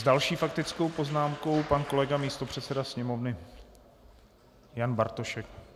S další faktickou poznámkou pan kolega místopředseda sněmovny Jan Bartošek.